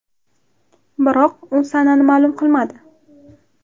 Biroq u sanani ma’lum qilmadi.